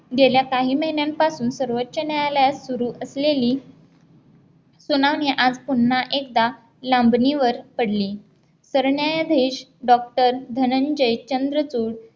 गेल्या काही महिन्यांपासून सर्वोच्च न्यायालयात सुरू असलेली सुनामी आज पुन्हा एकदा लांबणीवर पडली तर न्यायाधीश डॉक्टर धनंजय चंद्रपूर